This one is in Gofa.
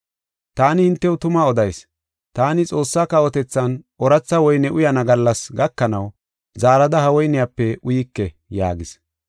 Taani hintew tuma odayis; taani Xoossaa kawotethan ooratha woyne uyana gallasi gakanaw zaarada ha woyniyape uyike” yaagis.